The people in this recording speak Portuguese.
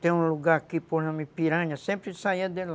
Tem um lugar aqui por nome Piranha, sempre saia de lá.